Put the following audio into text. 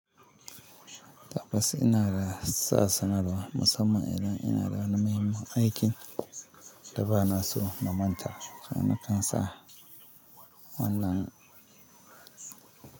Tabbas ina da sa sanarwa musamman idan ina da na muhimmin aikin da ba na so na manta. Na kan sa wannan.